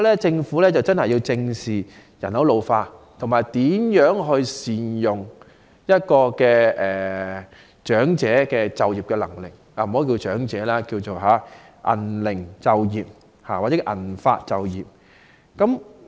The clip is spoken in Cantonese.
政府要正視人口老化，以及善用長者的就業能力——不要稱之為"長者就業"，而是"銀齡就業"或"銀髮就業"。